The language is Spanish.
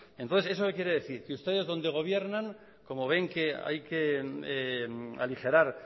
entonces eso qué quiere decir que ustedes donde gobiernan como ven que hay que aligerar